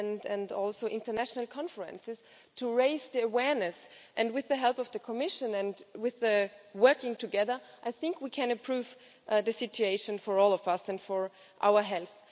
and also international conferences to raise the awareness, and with the help of the Commission and with working together, I think we can improve the situation for all of us and for our health.